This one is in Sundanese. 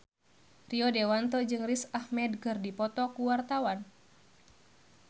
Rio Dewanto jeung Riz Ahmed keur dipoto ku wartawan